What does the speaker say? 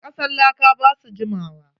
Kasan laka ba su jimawa.